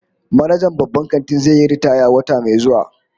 Manajan babban kantin zai yi ritaya wata mai zuwa